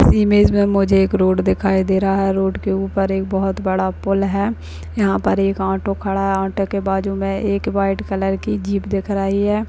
इस इमेज में मुझे एक रोड दिखाय दे रहा है रोड के ऊपर एक बहोत बड़ा पुल है यहां पर एक ऑटो खड़ा है ऑटो के बाजू में एक व्हाइट कलर की जिप दिख रही है।